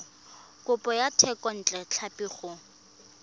kopo ya thekontle tlhapi go